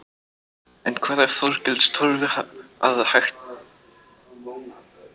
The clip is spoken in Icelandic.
En hvað sér Þorgils Torfi að hægt sé að gera í stöðunni?